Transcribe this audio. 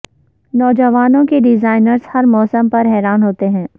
نوجوانوں کے ڈیزائنرز ہر موسم پر حیران ہوتے ہیں